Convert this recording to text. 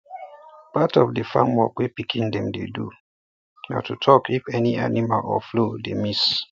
part of di farm work wey pikin dem dey do na to talk if any animal or fowl dey miss